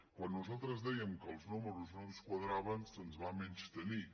quan nosaltres dèiem que els números no ens quadraven se’ns va menystenir